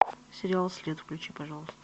сериал след включи пожалуйста